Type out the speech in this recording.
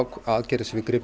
aðgerðir sem við gripum